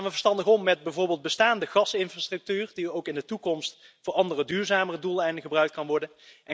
Gaan we verstandig om met bijvoorbeeld bestaande gasinfrastructuur die in de toekomst ook voor andere, duurzamere doeleinden gebruikt kan worden?